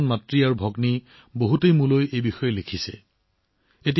আমাৰ মুছলমান মাতৃ আৰু ভগ্নীসকলে মোলৈ এই বিষয়ে বহুত লিখিছে